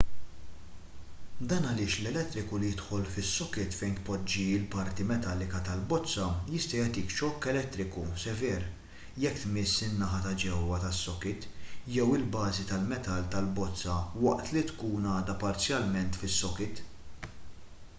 dan għaliex l-elettriku li jidħol fis-sokit fejn tpoġġi l-parti metallika tal-bozza jista' jagħtik xokk elettriku sever jekk tmiss in-naħa ta' ġewwa tas-sokit jew il-bażi tal-metall tal-bozza waqt li tkun għadha parzjalment fis-sokit